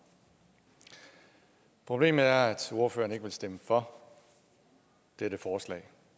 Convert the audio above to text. problemet er at ordføreren ikke vil stemme for dette forslag